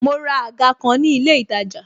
Mo ra àga kan ni ilé itaja